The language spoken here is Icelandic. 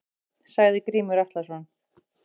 Sagði Grímur Atlason.